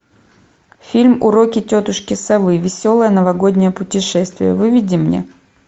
фильм уроки тетушки совы веселое новогоднее путешествие выведи мне